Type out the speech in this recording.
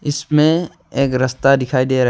इसमें एक रस्ता दिखाई दे रहा है।